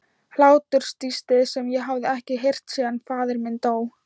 Hláturstístið sem ég hafði ekki heyrt síðan faðir minn dó.